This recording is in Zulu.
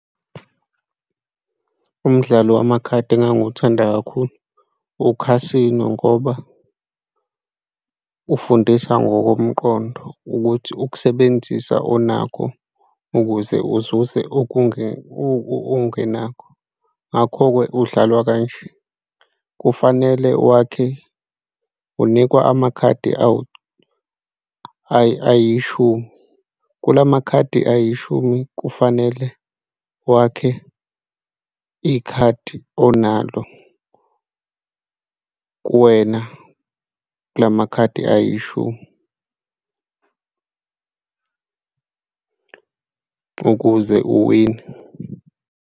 Umdlalo wamakhadi engangiwuthanda kakhulu, ukhasino ngoba ufundisa ngokomqondo ukuthi ukusebenzisa onakho ukuze uzuze ongenakho. Ngakho-ke udlalwa kanje. Kufanele wakhe unikwa amakhadi ayishumi kula makhadi ayishumi, kufanele wakhe ikhadi onalo kuwena kula makhadi ayishumi ukuze uwine.